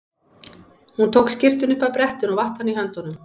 Hún tók skyrtuna upp af brettinu og vatt hana í höndunum.